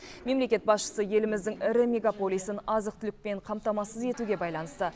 мемлекет басшысы еліміздің ірі мегаполисін азық түлікпен қамтамасыз етуге байланысты